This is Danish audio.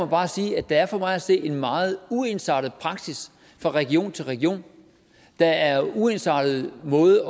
bare sige at der for mig at se er en meget uensartet praksis fra region til region der er uensartede måder